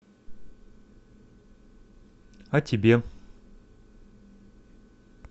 а тебе